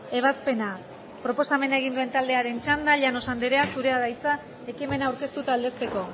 ebazpena proposamena egin duen taldearen txanda llanos anderea zurea da hitza ekimena aurkeztu eta aldezteko